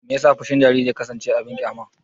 Me yasa fushin jariri ya kasance abin ƙyama?